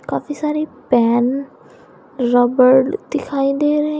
काफी सारी pen rubber दिखाई दे रहे हैं।